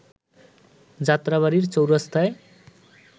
Jatrabari চৌরাস্তায়